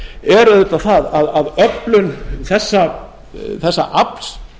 er auðvitað það að öflun þessa afls